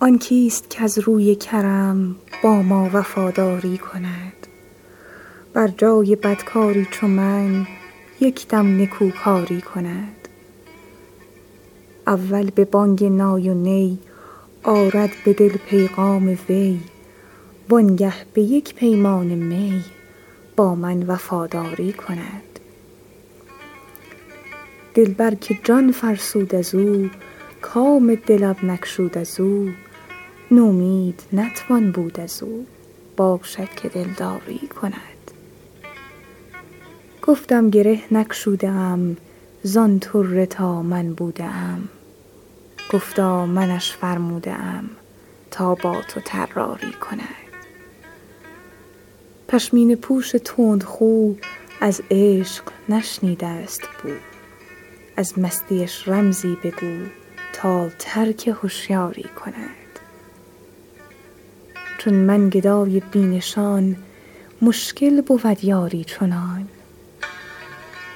آن کیست کز روی کرم با ما وفاداری کند بر جای بدکاری چو من یک دم نکوکاری کند اول به بانگ نای و نی آرد به دل پیغام وی وانگه به یک پیمانه می با من وفاداری کند دلبر که جان فرسود از او کام دلم نگشود از او نومید نتوان بود از او باشد که دلداری کند گفتم گره نگشوده ام زان طره تا من بوده ام گفتا منش فرموده ام تا با تو طراری کند پشمینه پوش تندخو از عشق نشنیده است بو از مستیش رمزی بگو تا ترک هشیاری کند چون من گدای بی نشان مشکل بود یاری چنان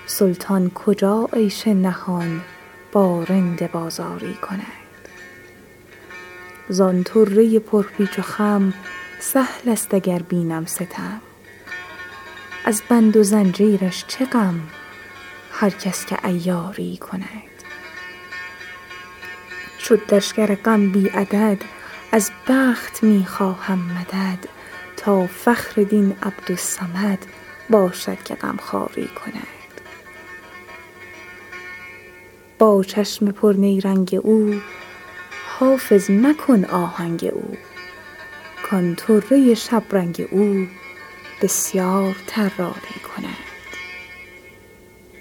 سلطان کجا عیش نهان با رند بازاری کند زان طره پرپیچ و خم سهل است اگر بینم ستم از بند و زنجیرش چه غم هر کس که عیاری کند شد لشکر غم بی عدد از بخت می خواهم مدد تا فخر دین عبدالصمد باشد که غمخواری کند با چشم پرنیرنگ او حافظ مکن آهنگ او کان طره شبرنگ او بسیار طراری کند